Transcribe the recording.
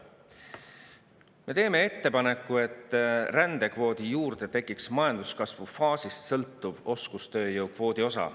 Me teeme ettepaneku, et rändekvoodi juurde tekiks majanduskasvufaasist sõltuv oskustööjõu kvoodi osa.